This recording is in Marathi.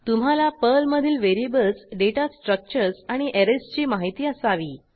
तुम्हाला पर्लमधील व्हेरिएबल्स डेटा स्ट्रक्चरर्स आणि ऍरेजची माहिती असावी